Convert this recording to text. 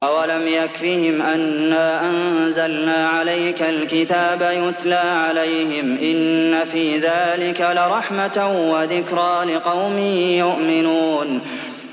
أَوَلَمْ يَكْفِهِمْ أَنَّا أَنزَلْنَا عَلَيْكَ الْكِتَابَ يُتْلَىٰ عَلَيْهِمْ ۚ إِنَّ فِي ذَٰلِكَ لَرَحْمَةً وَذِكْرَىٰ لِقَوْمٍ يُؤْمِنُونَ